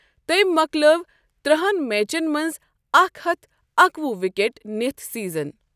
تٔمۍ مۄکلٲو ترہَن میچن منٛز اکھ ہتھ اکوُہ وِکیٹ نِتھ سیزن۔